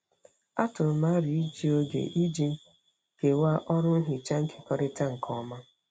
Atụrụ m aro iji oge iji kewaa ọrụ nhicha nkekọrịta nke ọma.